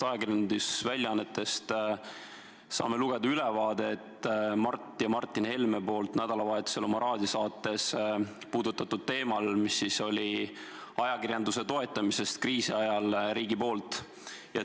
Ajakirjandusväljaannetest saame lugeda ülevaadet sellest, mida Mart ja Martin Helme nädalavahetusel oma raadiosaates puudutasid, ajakirjanduse toetamist kriisi ajal riigi poolt.